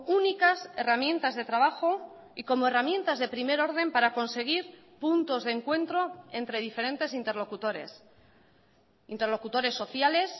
únicas herramientas de trabajo y como herramientas de primer orden para conseguir puntos de encuentro entre diferentes interlocutores interlocutores sociales